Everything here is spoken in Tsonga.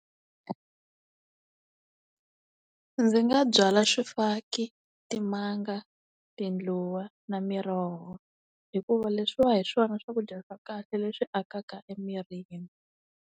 Ndzi nga byala swifaki, timanga, tindluwa na miroho hikuva leswiwa hi swona swakudya swa kahle leswi akaka emirini.